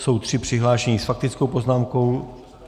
Jsou tři přihlášení s faktickou poznámkou.